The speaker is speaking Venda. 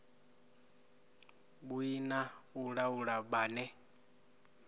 vhui na u laula vhane